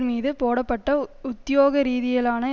மீது போடப்பட்ட உத்தியோக ரீதியிலான